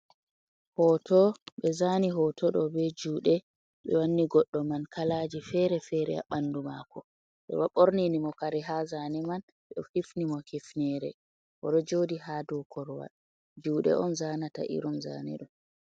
Hooto ɓe zaani hooto ɗoo bee juuɗe, ɓe wanni goddo man kalaaji feere feere ha ɓandu maako, ɓe ɗo ɓornini mo kare haa zaane man, ɓe hifni mo hifneere o ɗo joodi ha dow korowal, juuɗe on zaanata irin zaane ɗoo.